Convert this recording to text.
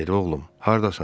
Nadir, oğlum, hardasan?